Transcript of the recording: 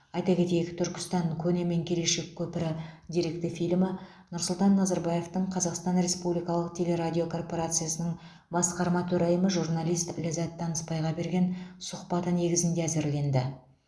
айта кетейік түркістан көне мен келешек көпірі деректі фильмі нұрсұлтан назарбаевтың қазақстан республикалық телерадиокорпорациясының басқарма төрайымы журналист ләззат танысбайға берген сұхбаты негізінде әзірленді